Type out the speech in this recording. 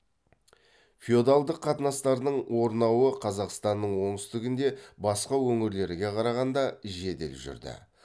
феодалдық қатынастардың орнауы қазақстанның оңтүстігінде басқа өңірлерге қарағанда жедел жүрді